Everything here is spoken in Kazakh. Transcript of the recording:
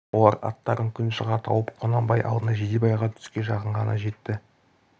олар аттарын күн шыға тауып құнанбай алдына жидебайға түске жақын ғана жетті